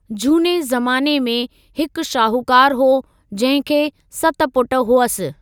जूने ज़माने में, हिकु शाहूकार हो जहिंखे सत पुट हुअसि।